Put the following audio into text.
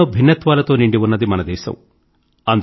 ఎన్నో భిన్నత్వాలతో నిండి ఉన్నది మన దేశం